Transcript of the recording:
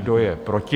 Kdo je proti?